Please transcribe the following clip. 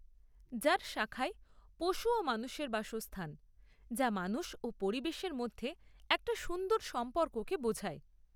যার শাখায় পশু ও মানুষের বাসস্থান, যা মানুষ ও পরিবেশের মধ্যে একটা সুন্দর সম্পর্ককে বোঝায়।